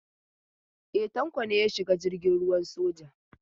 E, Tanko ne ya shiga jirgin ruwan soja.